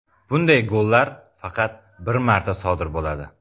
Bunday gollar faqat bir marta sodir bo‘ladi.